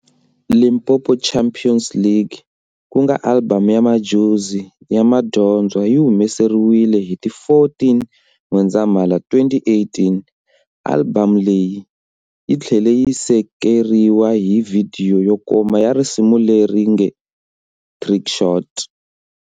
"Limpopo Champions League", kunga albhamu ya Madjozi' ya madyondza yi humelerisiwe hi ti 14 N'wendzamhala, 2018. Alibhamu leyi yi thlele yi sekeriwa hi vhidiyo yo koma ya risimu leri nge"Trickshot".